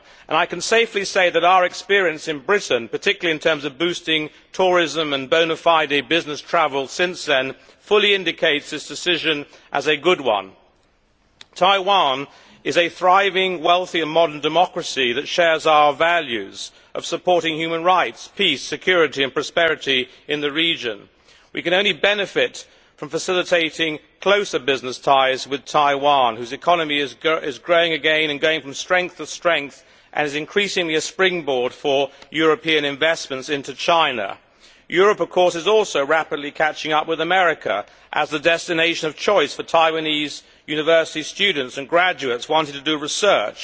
I can safely say that our experience in Britain, particularly in terms of boosting tourism and bone fide business travel since then, fully indicates that this decision was a good one. Taiwan is a thriving, wealthy and modern democracy that shares our values of supporting human rights, peace, security and prosperity in the region. We can only benefit from facilitating closer business ties with Taiwan, whose economy is growing again and going from strength to strength, and is increasingly a springboard for European investments into China. Europe, of course, is also rapidly catching up with America as a destination of choice for Taiwanese university students and graduates wanting to do research.